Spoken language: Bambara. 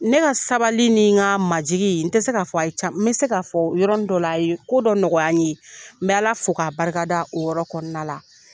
Ne ka sabali nin ka majigin, n tɛ se k'a fɔ a ye n bɛ se k'a fɔ yɔrɔ nin dɔ la, a ye ko dɔ nɔgɔya ye, n bɛ ala fo ka barikada o yɔrɔ kɔnna la.